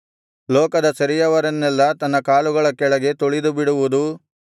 ಲೋಕದ ಸೆರೆಯವರನ್ನೆಲ್ಲಾ ತನ್ನ ಕಾಲುಗಳ ಕೆಳಗೆ ತುಳಿದುಬಿಡುವುದೂ